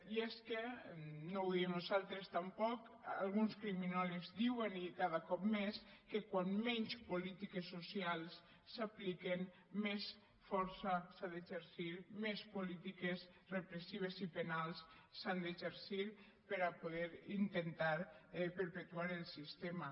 i és que no ho diem nosaltres tampoc alguns criminòlegs diuen i cada cop més que quan menys polítiques socials s’apliquen més força s’ha d’exercir més polítiques repressives i penals s’han d’exercir per a poder intentar perpetuar el sistema